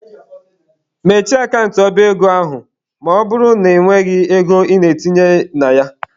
Mechie akant ọba ego ahụ ma ọ bụrụ na ị nweghị ego ị ga-etinye na ya!.